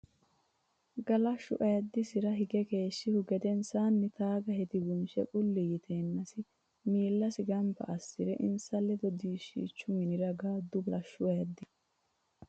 Galashshu ayiddisira hige keeshshihu gedensaanni taaga hedi bunshe qulli yiteennasi miillasi gamba assi re insa ledo diishshichu minira gaaddu Galashshu ayiddisira.